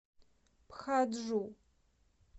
пхаджу